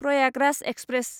Prayagraj express